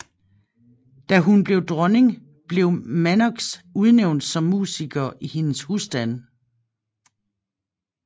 Da hun blev dronning blev Mannox udnævnt som musiker i hendes husstand